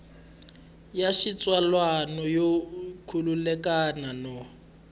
ya xitsalwana yo khulukelana no